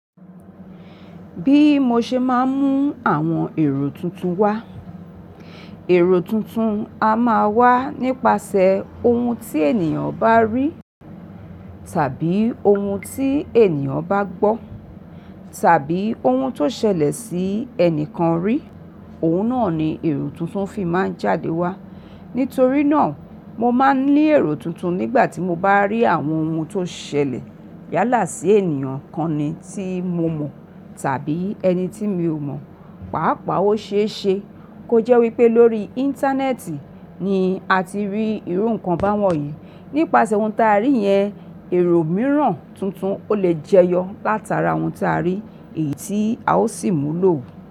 Bí mo ṣe máa ń mú àwọn èrò tuntun wá, èrò tuntun a máa wà nípasẹ̀ ohun tí ènìyàn bá rí tàbí ohun tí ènìyàn bá gbọ́ tàbí ohun tó ṣẹlẹ̀ sí ẹnìkan rí, òun náà ni èrò tuntun fi máa ń jáde wá. Nítorí náà, mo máa ń ní èrò tuntun nígbà tí mo bá rí àwọn ohun tó ṣẹlẹ̀ yálà sí ènìyàn kan ni tí mo mọ̀ tàbí ẹni tí mi ò mọ̀. Pàápàá ó ṣe é ṣe kó jẹ́ wípé lórí Íńtánẹ́ẹ̀tì ni a ti rí irú nǹkan báwọn yìí. Nípasẹ̀ ohun ta rí yẹn, èrò mìíràn tuntun o lè jẹyọ látara ohun ta rí èyí tí a ó sì mú lò òun.